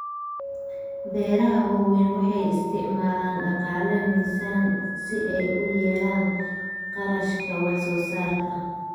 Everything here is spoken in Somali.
Beeraha waaweyni waxay isticmaalaan dhaqaale miisaan si ay u yareeyaan kharashka wax soo saarka.